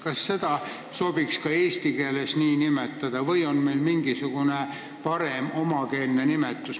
Kas seda sobiks ka eesti keeles nii nimetada või on meil mingisugune parem omakeelne nimetus?